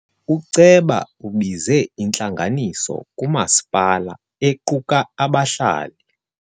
Uceba ubize intlanganiso kamasipala equka abahlali.